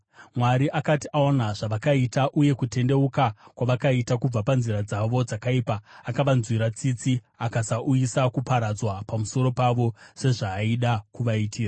Mwari akati aona zvavakaita uye kutendeuka kwavakaita kubva panzira dzavo dzakaipa, akavanzwira tsitsi akasauyisa kuparadzwa pamusoro pavo sezvaaida kuvaitira.